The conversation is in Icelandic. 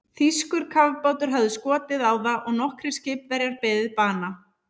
Þýskur kafbátur hafði skotið á það og nokkrir skipverjar beðið bana.